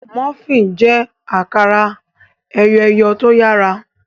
Múfìn jé akara eyọ eyọ tó yàrá.